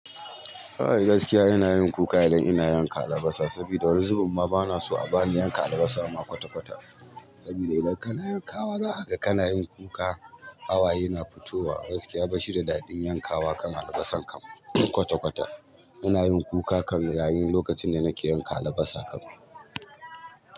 A'a gaskiya ina yin kuka idan ina yanka alabasa saboda wani zubin ma bana so a bani yanka alabasa ma kwata-kwata. Saboda idan kana yankawa za ka ga kanayin kuka hawaye na fitowa, gaskiya bashi da daɗin yankawa kan alabasanka kwata-kwata. Ina yin kuka kan yayin lokacin da nake yanka alabasa kam.